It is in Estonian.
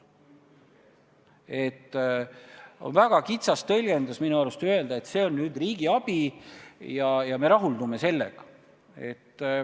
Minu arvates on väga kitsas tõlgendus öelda, et see on nüüd riigi abi ja me rahuldume sellega.